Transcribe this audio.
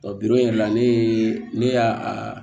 yɛrɛ la ne ye ne y'a